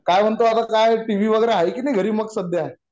काय म्हणतो आता काय टीव्ही वगैरे आहे की नाही घरी मग सध्या